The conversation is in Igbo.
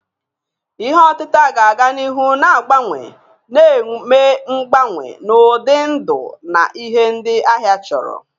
Ihe otita ga-aga n'ihu na-agbanwe, na-eme mgbanwe n'ụdị ndụ na ihe ndị ahịa chọrọ.